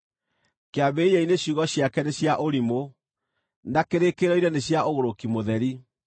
Kĩambĩrĩria-inĩ ciugo ciake nĩ cia ũrimũ; na kĩrĩkĩrĩro-inĩ nĩ cia ũgũrũki mũtheri: